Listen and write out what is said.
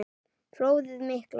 Flóðið mikla